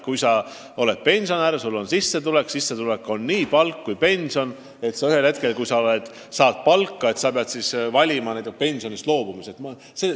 Kui sa oled pensionär ja su sissetuleku moodustavad nii palk kui pension, siis oleks halb, kui sa ühel hetkel pead valima tööl käimisest või pensionist loobumise vahel.